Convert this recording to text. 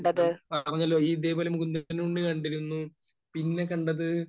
ഞാൻ പറഞ്ഞല്ലോ. ഈ മുകുന്ദനുണ്ണി കണ്ടിരുന്നു. പിന്നെ കണ്ടത്